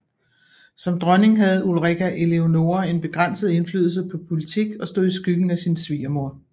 Som dronning havde Ulrika Eleonora en begrænset indflydelse på politik og stod i skyggen af sin svigermor